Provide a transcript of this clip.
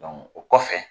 o kɔfɛ